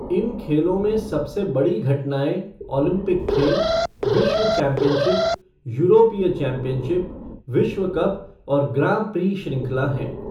इन खेल में सबसे बड़ी घटनाएँ ओलंपिक खेल, विश्व चैंपियनशिप, यूरोपीय चैंपियनशिप, विश्व कप और ग्राँ प्री श्रृंखला हैं।